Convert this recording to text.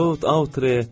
Totalitre!